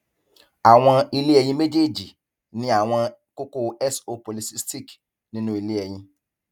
awọn ilé ẹyin mejeeji ni awọn kókó so polycystic nínú ilé ẹyin